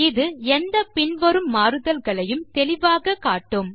இது எந்த பின்வரும் மாறுதல்களையும் தெளிவாக காட்டும்